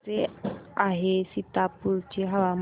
कसे आहे सीतापुर चे हवामान